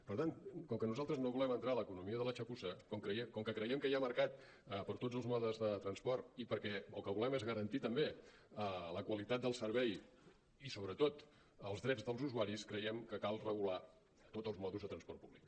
per tant com que nosaltres no volem entrar a l’economia de la txapussa com que creiem que hi ha mercat per a tots els modes de transport i perquè el que volem és garantir també la qualitat del servei i sobretot els drets dels usuaris creiem que cal regular tots els modes de transport públic